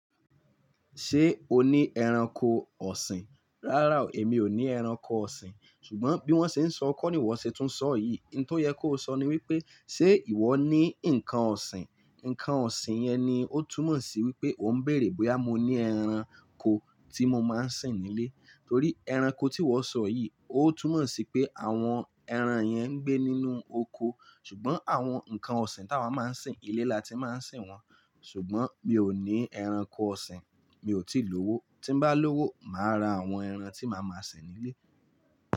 Ṣé o ní ẹranko ọ̀sìn? Rárá o, èmi ò ní ẹranko ọ̀sìn. Ṣùgbọ́n bí wọ́n ṣe ń sọ, kó ni ìwọ ṣe tún sọ yìí. Ní tó yẹ kó sọ ni wípé, ṣe ìwọ ní nǹkan ọ̀sìn? Ǹǹkan ọ̀sìn yẹn ni ó túmọ̀ sí wípé ó ń bèèrè bóyá mo ní ẹran ko tí mo máa ń sìn nílé. Torí ẹranko tí ìwọ sọ yìí, ó túmọ̀ sí pé àwọn ẹran yẹn ń gbé nínú oko. Ṣùgbọ́n àwọn ǹkan ọ̀sìn tá a máa ń sìn ilé la ti máa ń sìn wọ́n. Ṣùgbọ́n mi ò ní ẹranko ọ̀sìn, mi ò tíì lówó. Tín bá lówó, mà á ra àwọn ẹran tí màá máa sìn nílé.